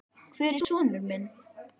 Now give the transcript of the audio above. Hvar er sonur minn?